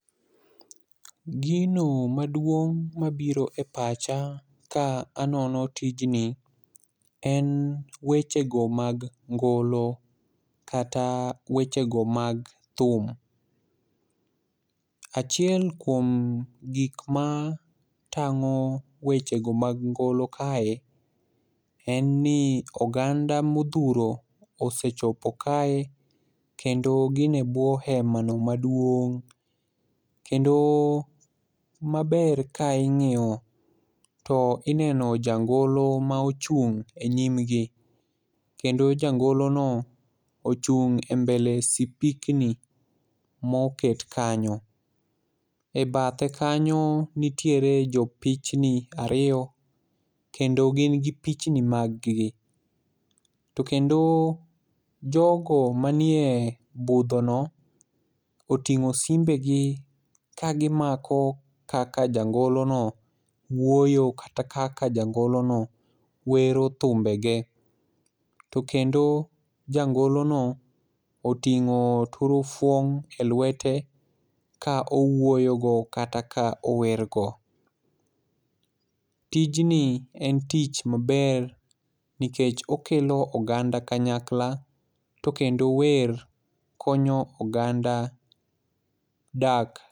Gino maduong' mabiro e pacha ka anono tijni en wechego mag ngolo kata wechego mag thum. Achiel kuom gik ma tang'o wechego mag ngolo kae, en ni oganda modhuro osechopo kae kendo gin e bwo hema no maduong' kendo maber ka ing'iyo to ineno jangolo ma ochung' e nyimgi. Kendo jangolono ochung' e mbele sipikni moket kanyo,e bathe kanyo nitiere jopichni ariyo kendo gin gi pichni maggi, to kendo jogo manie budhono, oting'o simbegi kagimako kaka jangolono wuoyo kata kaka jangolono wero thumbege, to kendo jangolono oting'o turufon e lwete ka owuoyogo kata ka owergo. Tijni en tich maber nikech okelo oganda kanyakla, to kendo wer konyo oganda dak .